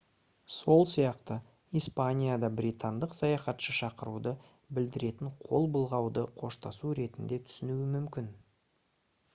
сол сияқты испанияда британдық саяхатшы шақыруды білдіретін қол былғауды қоштасу ретінде түсінуі мүмкін